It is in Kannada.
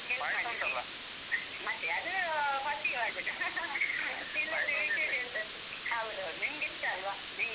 ಮತ್ತೇ? ಅದೂ first ಗೆ ಮಾಡ್ಬೇಕು . ಹೌದೌದು. ನಿಂಗಿಷ್ಟ ಅಲ್ವ? ನಿಂಗೆ